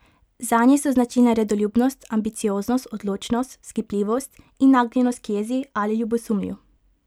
Zanje so značilne redoljubnost, ambicioznost, odločnost, vzkipljivost in nagnjenost k jezi ali ljubosumju.